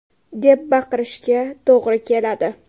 !” deb baqirishga to‘g‘ri keladi.